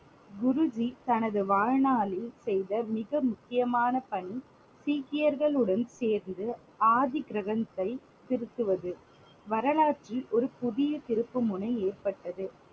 குருஜி தனது வாழ்நாளில் செய்த மிக முக்கியமான பணி சீக்கியர்களுடன் சேர்ந்து ஆதி கிரந்தத்தை திருத்துவது. வரலாற்றில் ஒரு புதிய திருப்புமுனை ஏற்பட்டது.